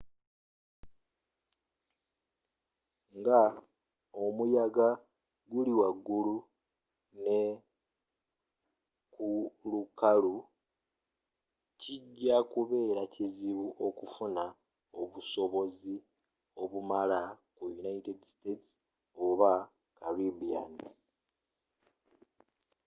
nga omuyaga guli wala ne kulukalu kijja kubera kizibu okufuna obusobozi obumala ku united states oba caribbean